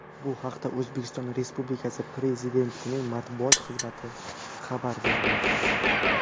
Bu haqda O‘zbekiston Respublikasi Prezidentining matbuot xizmati xabar berdi .